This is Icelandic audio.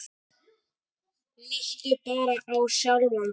Líttu bara á sjálfan þig.